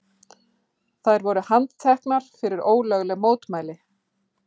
Þær voru handteknar fyrir ólögleg mótmæli